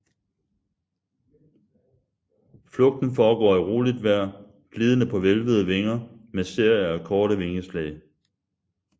Flugten foregår i roligt vejr glidende på hvælvede vinger med serier af korte vingeslag